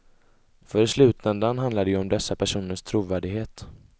För i slutändan handlar det ju om dessa personers trovärdighet.